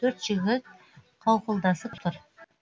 төрт жігіт қауқылдасып тұр